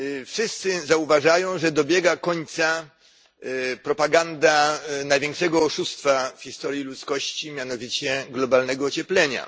Wszyscy zauważają, że dobiega końca propaganda największego oszustwa w historii ludzkości, mianowicie globalnego ocieplenia.